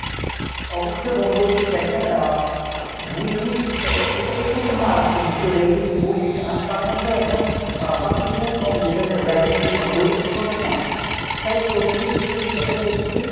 অবশ্যই বন্ধ কি দ্যাখেন আহ bulling এ~ এক্ষেত্রে একটা মারাত্মক বিষয় ragging bulling আমি Bangladesh এর এমন কম যেখানে ragging কিংবা bulling হচ্ছে না। তাই প্রতিটি বিশ্ববিদ্যালয় প্রতিটি